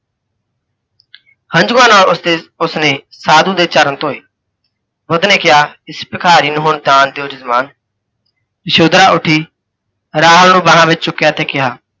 ਹੰਜੂਆਂ ਨਾਲ ਉਸਦੇ ਉਸਨੇ ਸਾਧੂ ਦੇ ਚਰਨ ਧੋਏ। ਬੁੱਧ ਨੇ ਕਿਹਾ, ਇਸ ਭਿਖਾਰੀ ਨੂੰ ਹੁਣ ਦਾਨ ਦਿਓ ਜੱਜਮਾਨ। ਯਸ਼ੋਧਰਾ ਉੱਠੀ, ਰਾਹੁਲ ਨੂੰ ਬਾਹਾਂ ਵਿੱਚ ਚੁਕਿੱਆ ਤੇ ਕਿਹਾ,